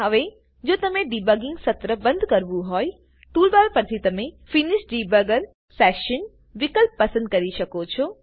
હવે જો તમને ડિબગિંગ સત્ર બંધ કરવું હોયટુલબાર પરથી તમે ફિનિશ ડિબગર સેશન વિકલ્પ પસંદ કરી શકો છો